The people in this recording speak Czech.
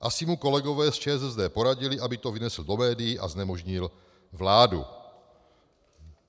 Asi mu kolegové z ČSSD poradili, aby to vynesl do médií a znemožnil vládu.